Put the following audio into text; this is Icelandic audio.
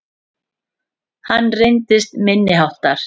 Hann reyndist minniháttar